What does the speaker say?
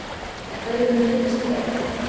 En hverjir munu flytjast í nýja hverfið?